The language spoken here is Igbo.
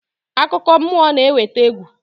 Akụkọ mmụọ na-eweta egwu.